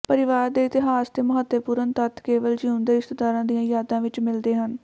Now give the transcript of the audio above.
ਪਰਿਵਾਰ ਦੇ ਇਤਿਹਾਸ ਦੇ ਮਹੱਤਵਪੂਰਣ ਤੱਥ ਕੇਵਲ ਜੀਉਂਦੇ ਰਿਸ਼ਤੇਦਾਰਾਂ ਦੀਆਂ ਯਾਦਾਂ ਵਿਚ ਮਿਲਦੇ ਹਨ